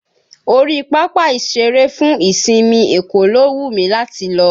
Orí pápá ìṣeré fún ìsinmi Èkó ló wù mí láti lọ